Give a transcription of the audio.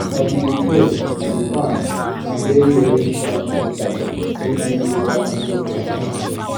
as we dey clear we dey pack and bury any sharp metal wey fit later injure person